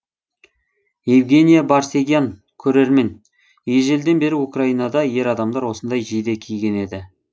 евгения барсегян көрермен ежелден бері украинада ер адамдар осындай жейде киген еді